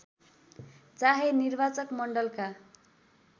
चाहे निर्वाचक मण्डलका